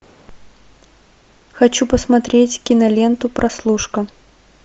хочу посмотреть киноленту прослушка